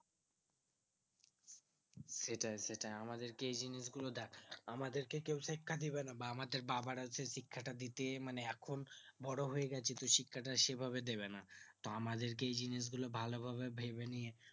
সেটাই সেটাই আমাদেরকে এই জিনিস গুলো দেখ আমাদেরকে কেও শিক্ষা দিবেনা আমাদের বাবারা যে শিক্ষাটা দিতেন মানে এখন বড়ো হয়ে গেছি তো শিক্ষাটা সেই ভাবে দেবে না তো আমাদেরকে এই জিনিস গুলো ভালো ভাবে ভেবে নিয়ে